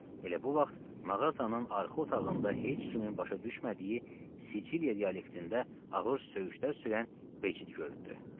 Elə bu vaxt mağazanın arxa otağında heç kimin başa düşmədiyi Siciliya dialektində ağır söyüşlər söyən Becid göründü.